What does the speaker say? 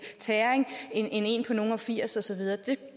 tæring end en på nogle og firs og så videre